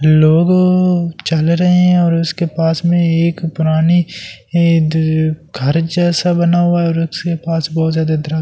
लोगो चल रहे हैं और उसके पास में एक पुरानी इधर घर जैसा बना हुआ और इसके पास बहुत ज्यादा दर--